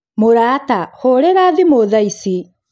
mũrata, hũrĩra thimũ thaa ici